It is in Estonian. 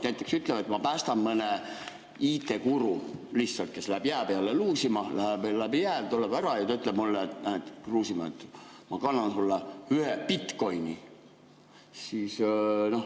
Näiteks, ma päästan mõne IT‑guru lihtsalt, kes on läinud jää peale luusima ja vajunud läbi jää, ja siis ta ütleb mulle, et Kruusimäe, ma kannan sulle üle ühe bitcoin'i.